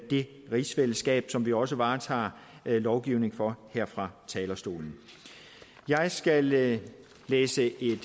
det rigsfællesskab som vi også varetager lovgivningen for her fra talerstolen jeg skal læse læse